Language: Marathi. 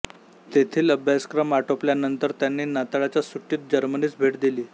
तेथील अभ्यासक्रम आटोपल्यानंतर त्यांनी नाताळाच्या सुटीत जर्मनीस भेट दिली